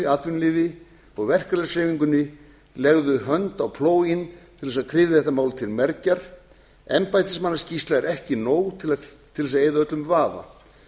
atvinnulífi og verkalýðshreyfingunni legði hönd á plóginn til þess að kryfja þetta mál til mergjar embættismannaskýrsla er ekki nóg til þess að eyða öllum vafa